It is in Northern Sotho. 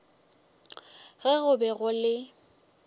ge go be go le